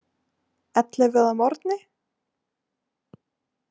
Ellefu að morgni?